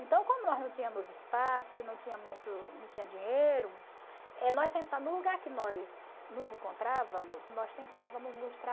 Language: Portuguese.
Então, como nós não tínhamos espaço e não tinha muito não tinha dinheiro, no lugar que nós nos encontrávamos, nós tentávamos nos